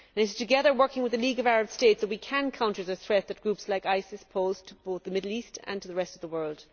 It is together, working with the League of Arab States, that we can counter the threat that groups like ISIS pose to both the Middle East and the rest of the world.